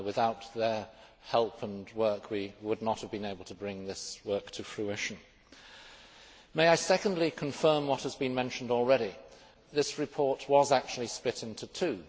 Without their help and work we would not have been able to bring this work to fruition. May I secondly confirm what has been mentioned already. This report was actually split into two.